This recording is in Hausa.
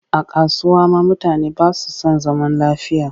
A kasuwa ma mutane ba su san zaman lafiya